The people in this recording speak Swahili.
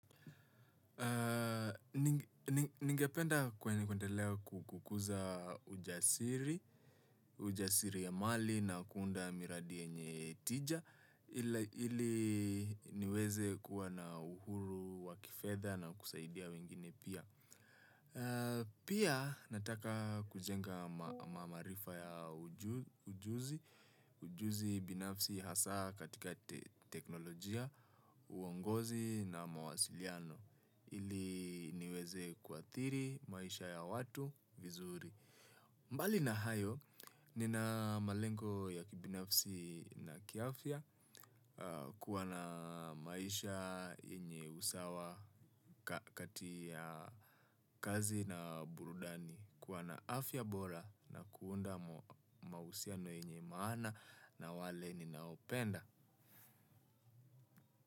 Ningependa kwenye kuendelea kukuza ujasiri, ujasiriamali na kuunda miradi yenye tija ili niweze kuwa na uhuru wa kifedha na kusaidia wengine pia. Pia nataka kujenga maarifa ya ujuzi binafsi hasa katika teknolojia, uongozi na mawasiliano ili niweze kuathiri maisha ya watu vizuri. Mbali na hayo nina malengo ya kibinafsi na kiafya kuwa na maisha yenye usawa kati ya kazi na burudani kuwa na afya bora na kuunda mahusiano yenye maana na wale ninaopenda.